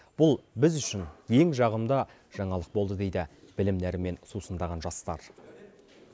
бұл біз үшін ең жағымды жаңалық болды дейді білім нәрімен сусындаған жастар